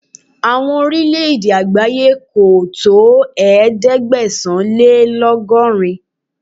Àwọn Orílẹ̀ẹ̀dè àgbáyé kò tó ẹ̀ẹ́dẹ́gbẹ̀sán-lé-lọ́gọ́rin.